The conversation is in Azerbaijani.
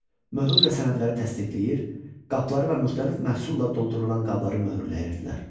Möhürlə sənədləri təsdiq edir, qapıları və müxtəlif məhsulla doldurulan qabları möhürləyirdilər.